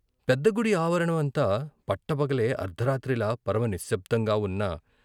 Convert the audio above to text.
పెద్ద గుడి ఆవరణమంతా పట్టపగలే అర్ధరాత్రిలా పరమ నిశ్శబ్ధంగా వున్న.